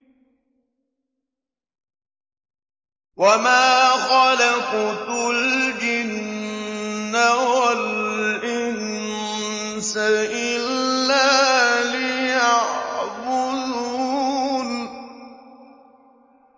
وَمَا خَلَقْتُ الْجِنَّ وَالْإِنسَ إِلَّا لِيَعْبُدُونِ